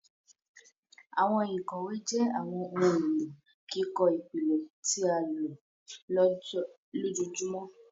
Àwọn ìkòwé jé àwọn ohùn èló kíkọ ìpìlẹ tí a lò lójoojúmó.